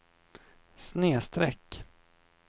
snedsträck